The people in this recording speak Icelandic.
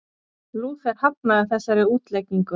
Lúther hafnaði þessari útleggingu.